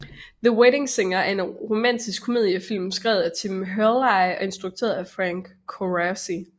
The Wedding Singer er en romantisk komedie film skrevet af Tim Herlihy og instrueret af Frank Coraci